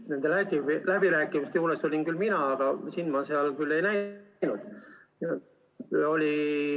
Nende läbirääkimiste juures olin küll mina, aga sind ma seal ei näinud.